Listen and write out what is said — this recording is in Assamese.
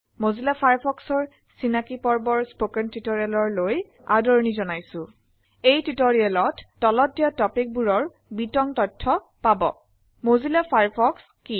মজিল্লা Firefoxৰ চিনাকী পৰ্বৰ স্পোকেন টিউটোৰিয়ললৈ আদৰনি জনাইছো। আমি এই টিটোৰিয়েলত তলত দিয়া টপিক বোৰৰ বিতং তথ্য পাব। মজিল্লা ফায়াৰফক্স কি